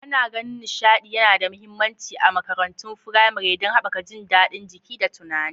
Ana ganin nishaɗi yana da mahimmanci a makarantun firamare don haɓaka jin daɗin jiki da tunani.